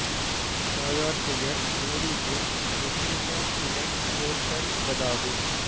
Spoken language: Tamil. தாயார் பெயர் Mary Jane Virginia Swain Porter என்பதாகும்